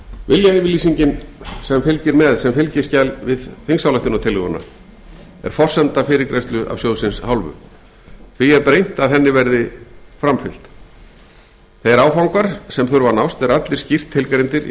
viljayfirlýsingin sem fylgir með sem fylgiskjal við þingsályktunartillöguna er forsenda fyrirgreiðslu af sjóðsins hálfu því er brýnt að henni verði framfylgt þeir áfangar sem þurfa að nást eru allir skýrt tilgreindir í